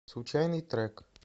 случайный трек